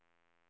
pojke